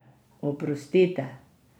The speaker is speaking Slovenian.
Oprostite!